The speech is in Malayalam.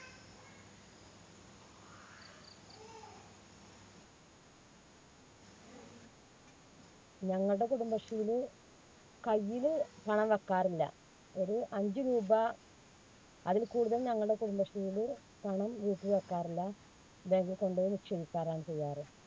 ഞങ്ങൾടെ കുടുംബശ്രീയില് കൈയ്യില് പണം വെക്കാറില്ല. ഒരു അഞ്ചു രൂപ അതിൽ കൂടുതൽ ഞങ്ങൾടെ കുടുംബശ്രീയില് പണം വീട്ടിൽ വെക്കാറില്ല. bank ൽ കൊണ്ടുപോയി നിക്ഷേപിക്കാറാണ് ചെയ്യാറ്.